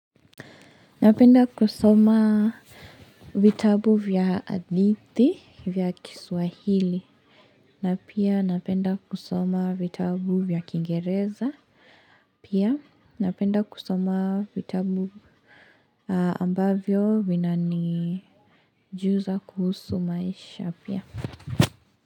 Napenda kusoma vitabu vya hadithi vya kiswahili na pia napenda kusoma vitabu vya kiingereza pia napenda kusoma vitabu ambavyo vinanijuza kuhusu maisha pia.